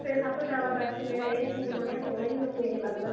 suit ਏ ਸਭ ਤੋਂ ਜਿਆਦਾ best ਮੇਰਾ ਇਹ ਸੂਟ ਬਣਿਆ ਸੋਹਣਾ ਹੀ ਮੈਨੂੰ ਇਹ ਲੱਗਦਾ